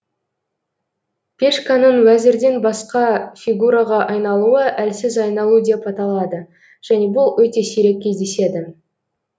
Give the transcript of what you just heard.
пешканың уәзірден басқа фигураға айналуы әлсіз айналу деп аталады және бұл өте сирек кездеседі